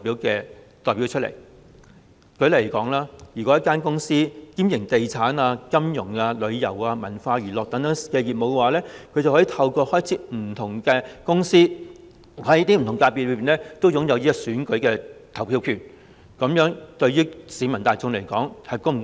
舉例而言，一間公司如果兼營地產、金融、旅遊和文化娛樂等業務，就可以透過開設不同公司而在不同界別擁有選舉投票權，這樣對市民大眾又是否公道？